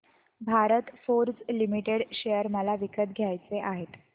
Bharat Forge Limited share मला विकत घ्यायचे आहेत